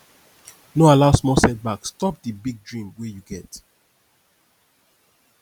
no allow small setback stop di big dream wey you get